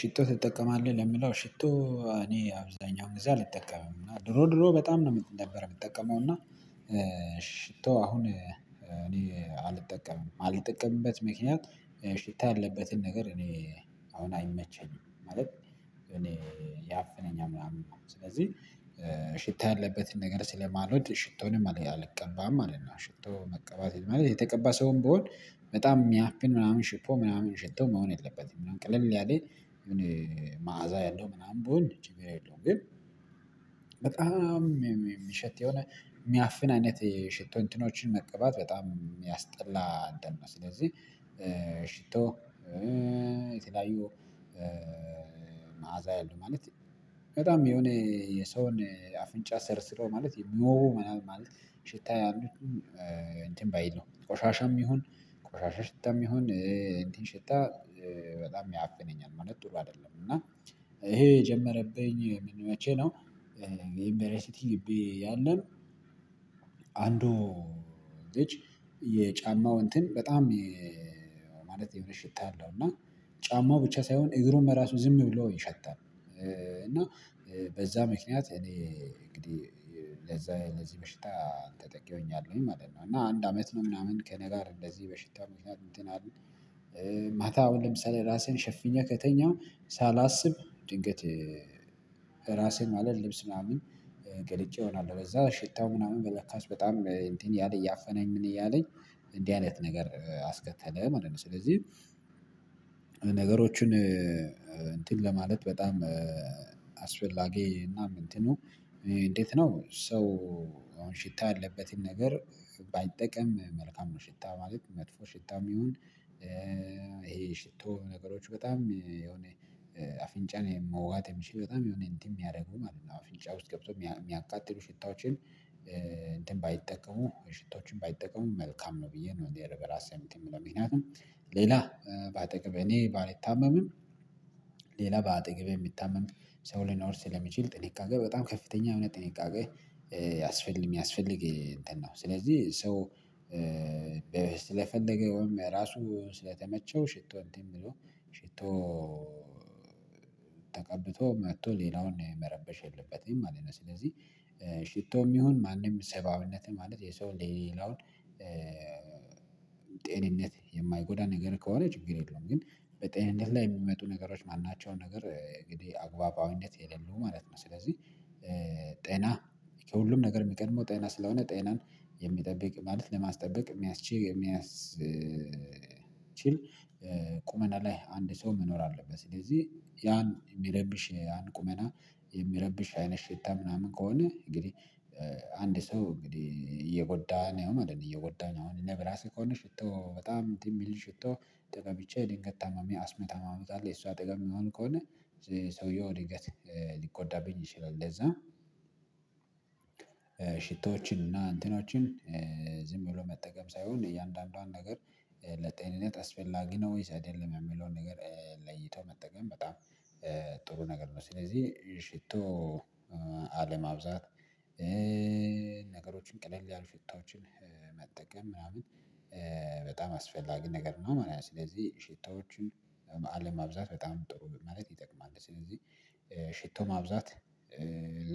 ሽቶ ትጠቀማለህ? ለምለው ሽቶ እኔ አብዛኛው ጊዜ አልጠቀምም እና ድሮ ድሮ በጣም ነው ነበረው የምጠቀመው እና ሽቶ አሁን እኔ አልጠቀምም ማልጠቀምበት ምክንያት ሽታ ያለበትን ነገር እኔ አሁን አይመቸኝም ማለት። እኔ ያፈነኛል ምናምን ስለዚህ ሽታ ያለበትን ነገር ስለማልወድ ሽቶንም አለ አልቀባም ማለት ነው። ሽቶ መቀባት ማለት የተቀባ ሰውም ብሆን በጣም ሚያፍን ምናምን ሽቶ ምናምን ሽቶ መሆን የለበትም ቅለል ያለ መዓዛ ያለው ምናምን ብሆን ችግር የለውም። ግን በጣም ሚሸት የሆነ ሚያፍን አይነት የሽቶ እንትኖችን መቀባት በጣም የሚያስጠላ አንደኛ ነው። ስለዚህ የተለያዩ መዓዛ ያሉ ማለት በጣም የሆነ የሰውን አፍንጫ ሰርስሮ ማለት የምወገወጉ ማለት ሽታ ያሉትን እንትን ባይል ነው ቆሻሻም ይሁን ቆሻሻ ሽታም ይሁን እንትን ሽታ በጣም ያፍነኛል ማለት ጥሩ አይደለም። እና ኤሄ የጀመረብኝ መቼ ነው? ዩንበሬሲቲ ግቢ ያለን አንዱ ልጅ የጫማው እንትን በጣም ማለት የምር ሽታ አለው እና ጫማው ብቻ ሳይሆን እግሩም ራሱ ዝም ብሎ ይሸታል እና በዛ ምክንያት እኔ እንግዲህ ለዛ ለዚህ በሽታ ተጠቂ ሆኛለሁኝ ማለት ነው። እና አንድ አመት ነው ምናምን ከነጋር እንደዚህ በሽታ እንትን አለ። ማታ አሁን ለምሳሌ ራሴን ሸፍኛ ከተኛው ሳላስብ ድንገት ራሴን ማለት ልብስ ምናምን ገልጨ እሆናለሁ ለዛ ሽታው ምናምን በለካች በጣም እንዲህ እያለ እያፈናኝ ምን እያለኝ እንዲህ አይነት ነገር አስከተለ ማለት ነው። ስለዚህ ነገሮችን እንትን ለማለት በጣም አስፈላጊ እና እንትኑ እንዴት ነው? ሰው አሁን ሽታ ያለበትን ነገር ባይጠቀም መልካም ነው። ሽታ ማለት መጥፎ ሽታም ይሁን ይሄ ሽቶ ነገሮች በጣም የሆነ አፍንጫን የምወዋት የሚል በጣም የሆነ እንትን የሚያረጉ ማለት ነው። አፍንጫ ውስጥ ገብቶ የሚያቃጥሉ ሽታዎችን እንትን ባይጠቀሙ ሽቶችን ባይጠቀሙ መልካም ነው። ብዬ ነው እንዴ በራሴ ሳይምል የሚለው ምክንያቱም ሌላ በአጠገብ እኔ ባልታመምም ሌላ በአጠገቤ የሚታመም ሰው ሊኖር ስለሚችል ጥንቃቄ በጣም ከፍተኛ የሆነ ጥንቃቄ ያስፈልግ የሚያስፈልግ እንትን ነው። ስለዚህ ሰው ስለፈለገውም ራሱ ስለተመቸው ሽቶ እንትን ብሎ ሽቶ ተቀብቶ መጥቶ ሌላውን መረበሽ የለበትም ማለት ነው። ስለዚህ ሽቶም ይሁን ማንም ሰብአዊነት ማለት የሰው ለሌላውን ጤንነት የማይጎዳ ነገር ከሆነ ችግር የለውም። ግን በጤንነት ላይ የሚመጡ ነገሮች ማናቸውን ነገር እንግዲህ አግባባዊነት የሌለው ማለት ነው። ስለዚህ ጤና ከሁሉም ነገር የሚቀድመው ጤና ስለሆነ ጤናን የሚጠብቅ ማለት ለማስጠበቅ የሚያስችይ የሚያስችል ቁመና ላይ አንድ ሰው መኖር አለበት። ስለዚህ ያን የሚረብሽ ያን ቁመና የሚረብሽ አይነት ሽታ ምናምን ከሆነ እንግዲህ አንድ ሰው እንግዲህ እየጎዳን አይደለም እየጎዳኝ አሁን በራሴ ከሆነ ሽቶ በጣም የሚል ሽቶ ተቀብቼ ድንገት ታማሚ አስሚ ታማሚ ካለ የሱ አጠገብ የምሆን ከሆነ ሰውየው ድንገት ሊጎዳብኝ ይችላል። ለዛ ሽቶዎችንና እንትኖችን ዝም ብሎ መጠቀም ሳይሆን እያንዳንዷን ነገር ነገሮችን እንትን ለማለት በጣም አስፈላጊ እና እንትኑ ጥሩ ነገር ነው። ስለዚህ ሽቶ አለማብዛት ነገሮችን ቅልል ያለ ሽታዎችን መጠቀም ምናምን በጣም አስፈላጊ ነገር ነው ማለት ነው። ስለዚህ ሽታዎችን አለማብዛት በጣም ጥሩ ማለት ይጠቅማል። ስለዚህ ሽቶ ማብዛት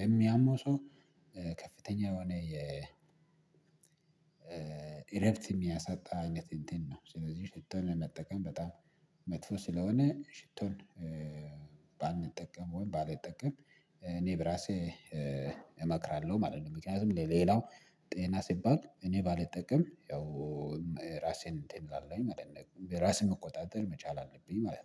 ለሚያመው ሰው ከፍተኛ የሆነ የእረፍት የሚያሳጣ አይነት እንትን ነው። ስለዚህ ሽቶን ለመጠቀም በጣም መጥፎ ስለሆነ ሽቶን ባንጠቀም ወይም ባልጠቀም እኔ በራሴ እመክራለሁ ማለት ነው። ምክንያቱም ለሌላው ጤና ሲባል እኔ ባልጠቀም ያው ራሴን እንትን እላለሁኝ ማለት ነው። ራስን መቆጣጠር መቻል አለብኝ ማለት ነው